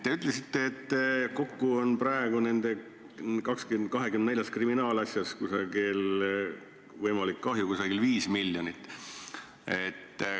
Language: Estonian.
Te ütlesite, et kokku on praegu nendes 24 kriminaalasjas võimalik kahju 5 miljonit.